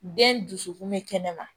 Den dusukun bɛ kɛnɛma